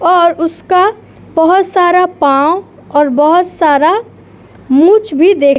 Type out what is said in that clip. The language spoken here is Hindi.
और उसका बोहोत सारा पांव और बोहोत सारा मूंछ भी देख --